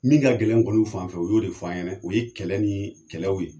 Min ka gɛlɛn an kɔni fanfɛ o y'o de fɔ an ɲɛna o ye kɛlɛ ni kɛlɛw ye.